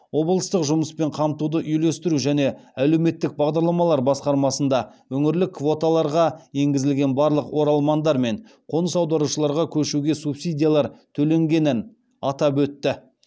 облыстық жұмыспен қамтуды үйлестіру және әлеуметтік бағдарламалар басқармасында өңірлік квоталарға енгізілген барлық оралмандар мен қоныс аударушыларға көшуге субсидиялар төленгенін атап өтті